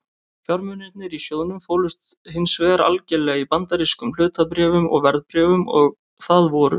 Fjármunirnir í sjóðnum fólust hins vegar algerlega í bandarískum hlutabréfum og verðbréfum og það voru